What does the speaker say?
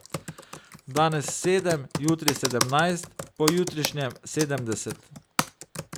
Danes sedem, jutri sedemnajst, pojutrišnjem sedemdeset.